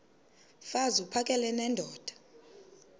mfaz uphakele nendoda